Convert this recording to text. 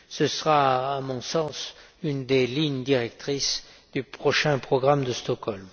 Ce sera, à mon sens, l'une des lignes directrices du prochain programme de Stockholm.